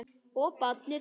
Og barnið.